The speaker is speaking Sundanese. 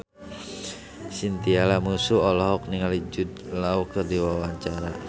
Chintya Lamusu olohok ningali Jude Law keur diwawancara